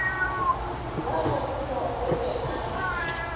wa lekgowa o be a